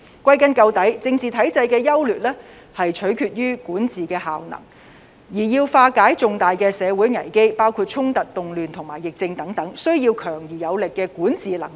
歸根究底，政治體制的優劣，是取決於管治效能；而要化解重大社會危機，包括衝突、動亂和疫症等，需要強而有力的管治能力。